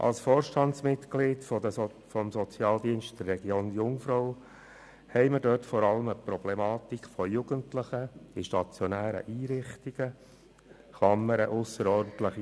Als Vorstandsmitglied des Sozialdienstes der Region Jungfrau weiss ich, dass wir dort bezüglich «ausserordentlicher Höhe» vor allem eine Problematik bei den Jugendlichen in stationären Einrichtungen haben.